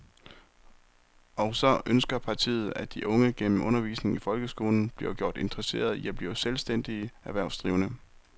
Og så ønsker partiet, at de unge gennem undervisningen i folkeskolen bliver gjort interesserede i at blive selvstændige erhvervsdrivende.